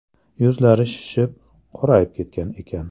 Yuzlari shishib, qorayib ketgan ekan.